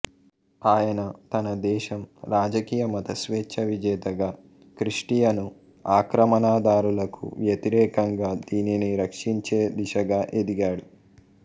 ఆయన తన దేశం రాజకీయ మత స్వేచ్ఛ విజేతగా క్రిస్టియను ఆక్రమణదారులకు వ్యతిరేకంగా దీనిని రక్షించే దిశగా ఎదిగాడు